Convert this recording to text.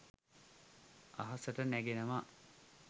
අහසට නැගෙනවා